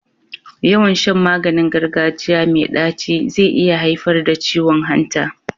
Yawan Shan maganin gargajiya me daci ze iya haifar da ciwon hanta